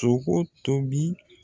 Sogo tobi